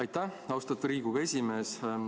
Aitäh, austatud Riigikogu esimees!